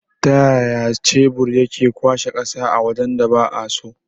Taya shebur yake kwashe ƙasa a wajan da ba'a so?